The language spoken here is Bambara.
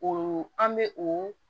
O an bɛ o